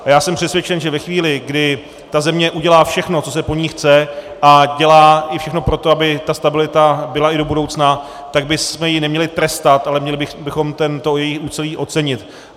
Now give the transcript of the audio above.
Já jsem přesvědčen, že ve chvíli, kdy ta země udělá všechno, co se po ní chce, a dělá i všechno pro to, aby ta stabilita byla i do budoucna, tak bychom ji neměli trestat, ale měli bychom toto její úsilí ocenit.